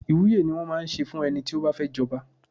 Ìwúye ni wón máa ń ṣe fún ẹni tí ó bá fẹ́ jọba.